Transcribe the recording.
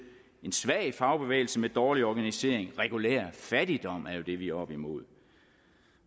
en svag fagbevægelse med dårlig organisering regulær fattigdom er jo det vi er oppe imod